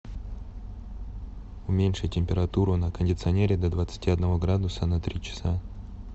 уменьши температуру на кондиционере до двадцати одного градуса на три часа